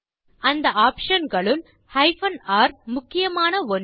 அந்த ஆப்ஷன் களுள் R முக்கியமான ஒன்று